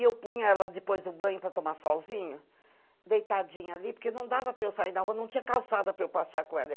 E eu punha ela depois do banho para tomar solzinho, deitadinha ali, porque não dava para eu sair na rua, não tinha calçada para eu passear com ela.